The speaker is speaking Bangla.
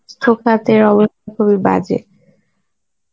তেও আবার খুবই বাজে